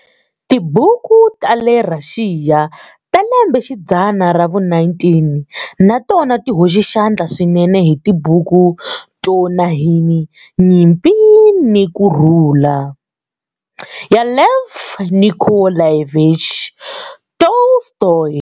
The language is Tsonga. Tibuku ta le Rhaxiya ta lembe xidzana ra vu-19 na tona ti hoxe xandla swinene hi tibuku to tanihi"Nyimpi ni ku Rhula" ya Lev Nikolayevich Tolstoy.